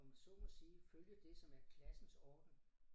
Om jeg så mig sige følge det som er klassens orden